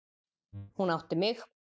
Hún átti mig.